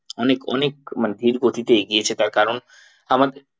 অনেক অনেক মানে ধীর গতিতে এগিয়ে তার কারণ আমার